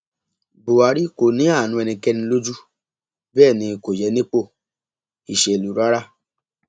buhari kò ní àánú ẹnikẹni lójú bẹẹ ni kò yẹ nípò ìṣèlú rárá